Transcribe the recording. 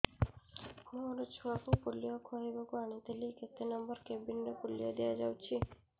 ମୋର ଛୁଆକୁ ପୋଲିଓ ଖୁଆଇବାକୁ ଆଣିଥିଲି କେତେ ନମ୍ବର କେବିନ ରେ ପୋଲିଓ ଦିଆଯାଉଛି